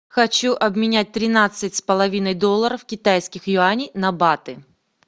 хочу обменять тринадцать с половиной долларов китайских юаней на баты